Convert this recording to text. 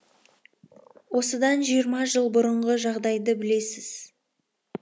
осыдан жиырма жыл бұрынғы жағдайды білесіз